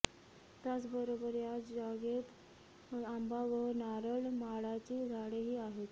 त्याचबरोबर या जागेत आंबा व नारळ माडाची झाडेही आहेत